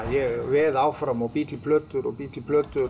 ég veð áfram og bý til plötur og bý til plötur